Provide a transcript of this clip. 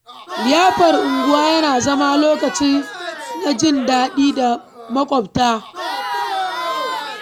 Liyafar unguwa yana zama lokaci na jin daɗi da maƙwabta.